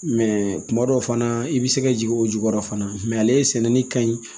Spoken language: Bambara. Mɛ kuma dɔw fana i bɛ se ka jigin o jukɔrɔ fana ale sɛnɛni ka ɲi